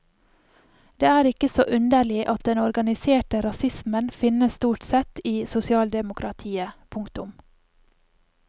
Det er ikke så underlig at den organiserte rasismen finnes stort sett i sosialdemokratiet. punktum